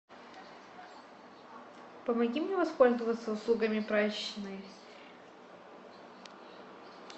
помоги мне воспользоваться услугами прачечной